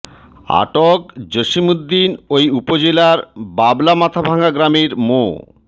আটক জসিম উদ্দিন ওই উপজেলার বাবলা মাথাভাঙ্গা গ্রামের মো